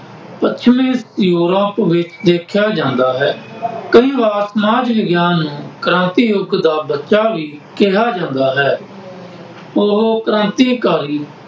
ਪੱਛਮੀ ਯੂਰਪ ਵਿੱਚ ਵੇਖਿਆਂ ਜਾਂਦਾ ਹੈ। ਕਈ ਵਾਰ ਸਮਾਜ ਵਿਗਿਆਨ ਨੂੰ ਕ੍ਰਾਂਤੀ ਯੁੱਗ ਦਾ ਬੱਚਾ ਵੀ ਕਿਹਾ ਜਾਦਾ ਹੈ। ਉਹ ਕ੍ਰਾਂਤੀਕਾਰੀ